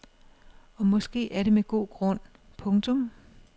Og måske er det med god grund. punktum